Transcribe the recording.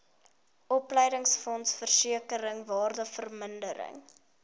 opleidingsfonds versekering waardevermindering